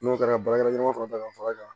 N'o kɛra baarakɛɲɔgɔn fana ta ka far'a kan